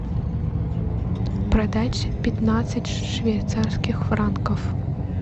продать пятнадцать швейцарских франков